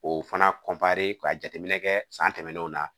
O fana ka jateminɛ kɛ san tɛmɛnenw na